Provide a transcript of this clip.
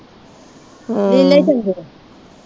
ਹਮ ਨੀਲੇ ਈ ਚੰਗੇ ਆ।